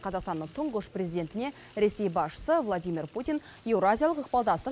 қазақстанның тұңғыш президентіне ресей басшысы владимир путин еуразиялық ықпалдастық